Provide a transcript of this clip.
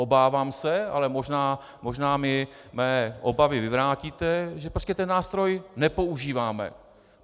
Obávám se, ale možná mi mé obavy vyvrátíte, že prostě ten nástroj nepoužíváme.